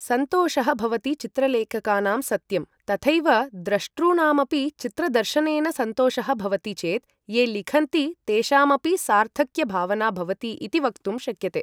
सन्तोषः भवति चित्रलेखकानां सत्यं तथैव द्रष्टॄणामपि चित्रदर्शनेन सन्तोषः भवति चेत् ये लिखन्ति तेषामपि सार्थक्यभावना भवति इति वक्तुं शक्यते ।